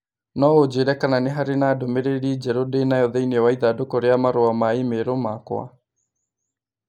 No ũnjĩĩre kana nĩ harĩ ndũmĩrĩri njerũ ndĩ nayo thĩĩnĩ wa ĩthandũkũ rĩa marũa ma i-mīrū makwa.